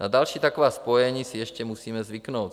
Na další taková spojení si ještě musíme zvyknout.